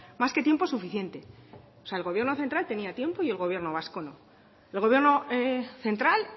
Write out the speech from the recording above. más que tiempo suficiente o sea el gobierno central tenía tiempo y el gobierno vasco no el gobierno central